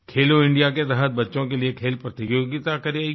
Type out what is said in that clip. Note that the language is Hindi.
खेलो इंडिया के तहत बच्चों के लिए खेल प्रतियोगिता कराई गई